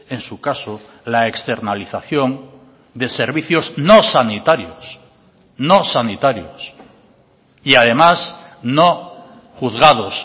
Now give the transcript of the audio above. en su caso la externalización de servicios no sanitarios no sanitarios y además no juzgados